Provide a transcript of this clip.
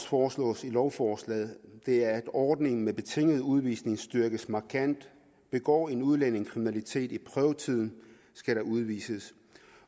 foreslås i lovforslaget er at ordningen med betinget udvisning styrkes markant begår en udlænding kriminalitet i prøvetiden skal der udvises